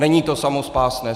Není to samospásné.